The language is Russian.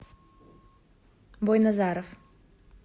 бойназаров